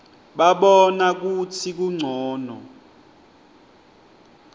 babona kutsi kuncono